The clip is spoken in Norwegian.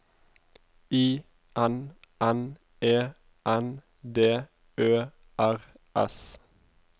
I N N E N D Ø R S